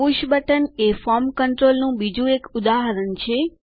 push button એ ફોર્મ કન્ટ્રોલનું બીજું એક ઉદાહરણ છે